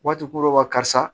Waati ko dɔw b'a la karisa